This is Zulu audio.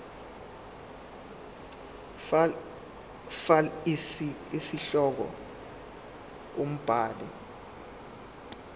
fal isihloko umbhali